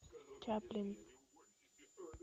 чаплин